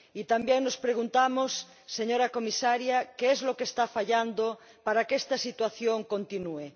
También nos preguntamos, señora comisaria, qué es lo que está fallando para que esta situación continúe.